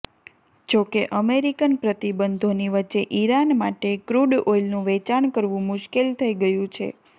જો કે અમેરિકન પ્રતિબંધોની વચ્ચે ઇરાન માટે ક્રૂડ ઓઇલનું વેચાણ કરવું મુશ્કેલ થઇ ગયું છે